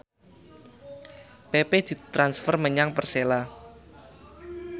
pepe ditransfer menyang Persela